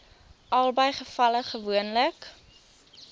albei gevalle gewoonlik